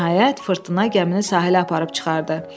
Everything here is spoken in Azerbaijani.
Nəhayət, fırtına gəmini sahilə aparıb çıxartdı.